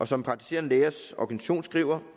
som praktiserende lægers organisation skriver